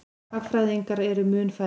Hagfræðingar eru mun færri.